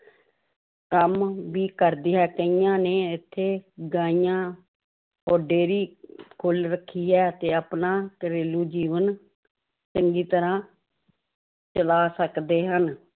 ਕੰਮ ਵੀ ਕਰਦੀ ਈਆਂ ਕਈਆਂ ਨੇ ਇੱਥੇ ਗਾਈਆਂ ਔਰ dairy ਖੋਲ ਰੱਖੀ ਹੈ ਤੇ ਆਪਣਾ ਘਰੇਲੂ ਜੀਵਨ ਚੰਗੀ ਤਰ੍ਹਾਂ ਚਲਾ ਸਕਦੇ ਹਨ l